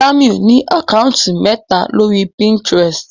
Jamiu ní Àkáùntì méta lórí Pinterest.